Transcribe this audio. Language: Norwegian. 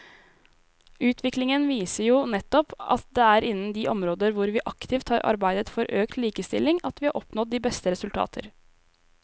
Utviklingen viser jo nettopp at det er innen de områder hvor vi aktivt har arbeidet for økt likestilling at vi har oppnådd resultater.